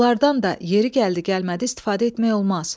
Onlardan da yeri gəldi-gəlmədi istifadə etmək olmaz.